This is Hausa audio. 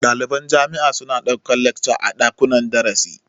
Ɗaliban jami'a su na ɗaukan lacca a ɗakunnan darasi